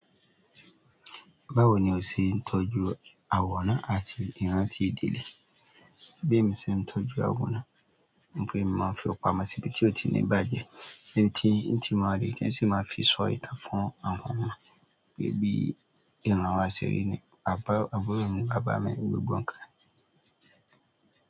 Báwo ni o ṣe ń tọ́jú àwòrán àti ìrántí ìdílé? Bí mo ṣe ń tọ́jú àwòrán, nipé mo máa fi pamọ́ síbi tí ó ti ní ìbàjẹ́, tí ń ti máa ri tí sì máa fi sọ ìtàn fún àwọn ọmọ pé bí ìran wa ṣeré ni àbúrò mi bàbá mi gbogbo ǹkan.